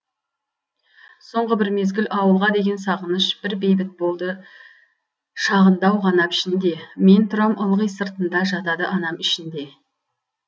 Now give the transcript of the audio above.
соңғы бір мезгіл ауылға деген сағыныш бір бейіт болды шағындау ғана пішінде мен тұрам ылғи сыртында жатады анам ішінде